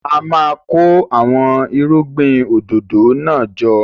A máa kó àwọn irúgbìn òdòdó náà jọ.